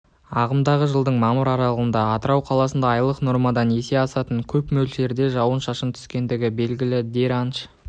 ағымдағы жылдың мамыр аралығында атырау қаласында айлық нормадан есе асатын көп мөлшерде жауын-шашын түскендігі белгілі дренаж